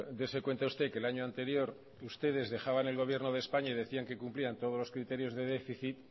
dese cuenta usted que el año anterior ustedes dejaban el gobierno de españa y decían que cumplían todos los criterios de déficit